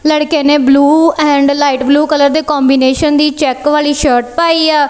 ਲੜਕੇ ਨੇ blue and light blue colour ਦੇ ਕੋਂਬੀਨੇਸ਼ਨ ਦੀ ਚੈੱਕ ਵਾਲੀ ਸ਼ਰਟ ਪਾਈ ਆ।